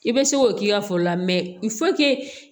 I bɛ se k'o k'i ka foro la